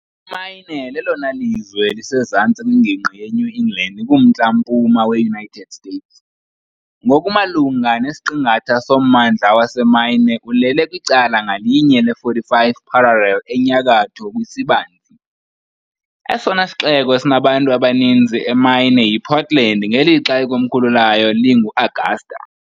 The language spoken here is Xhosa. Imaine lelona lizwe lisezantsi kwingingqi yeNew England kuMntla-mpuma weUnited States . Ngokumalunga nesiqingatha sommandla waseMaine ulele kwicala ngalinye le -45th parallel enyakatho kwisibanzi . Esona sixeko sinabantu abaninzi eMaine yiPortland, ngelixa ikomkhulu layo linguAugusta .